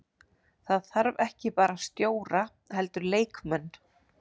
Það þarf ekki bara stjóra heldur leikmenn.